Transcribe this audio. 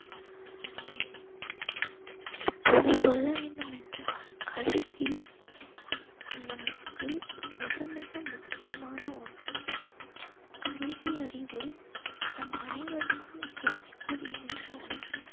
இப்போது சொல்ல வேண்டும் என்றால் கல்வி நமக்கு மிக மிக முக்கியமான ஒன்று. கல்வி அறிவு நம் அனைவருக்கும் தேவைப்படுகின்ற ஒன்று.